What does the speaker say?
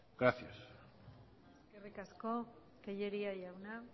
gracias eskerrik asko tellería jauna